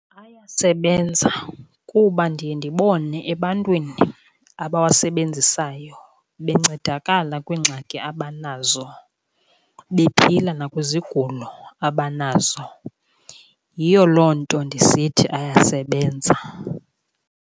Ayasebenza kuba ndiye ndibone ebantwini abawasebenzisayo bencedakala kwiingxaki abanazo, bephila nakwizigulo abanazo. Yiyo loo nto ndisithi ayasebenza.